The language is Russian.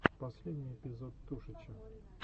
последний эпизод тушича